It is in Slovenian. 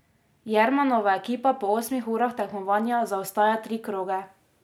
Jermanova ekipa po osmih urah tekmovanja zaostaja tri kroge.